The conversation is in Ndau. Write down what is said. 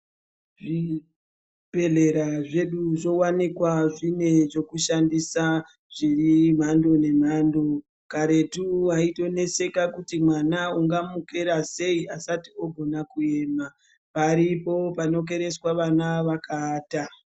Zvibhedhlera zvedu zvowanikwa zvine zvokushandisa zviri mhando nemhando. Karetu waitoneseka kuti mwana ungamukera sei asati ogona kuema. Paripo panokereswa vana vakaata.